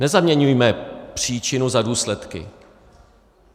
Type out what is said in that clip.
Nezaměňujme příčinu za důsledky.